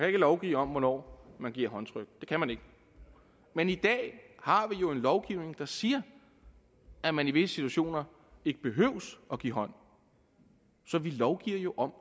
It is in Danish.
ikke lovgive om hvornår man giver håndtryk det kan man ikke men i dag har vi jo en lovgivning der siger at man i visse situationer ikke behøver at give hånd så vi lovgiver jo om